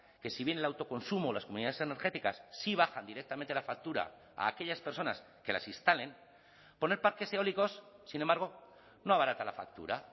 que si bien el autoconsumo las comunidades energéticas sí bajan directamente la factura a aquellas personas que las instalen poner parques eólicos sin embargo no abarata la factura